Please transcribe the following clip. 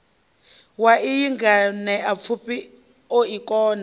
wa iyi nganeapfufhi o kona